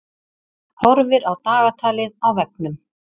Horfir á dagatalið á veggnum.